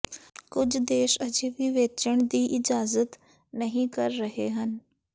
ਕੁਝ ਦੇਸ਼ ਅਜੇ ਵੀ ਵੇਚਣ ਦੀ ਇਜਾਜ਼ਤ ਨਹੀ ਕਰ ਰਹੇ ਹਨ